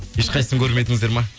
ешқайсысын көрмедіңіздер ме